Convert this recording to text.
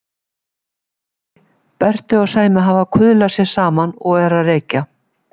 Nei, Berti og Sæmi hafa kuðlað sér saman og eru að reykja.